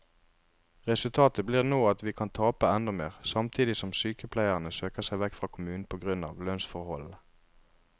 Resultatet blir nå at vi kan tape enda mer, samtidig som sykepleierne søker seg vekk fra kommunen på grunn av lønnsforholdene.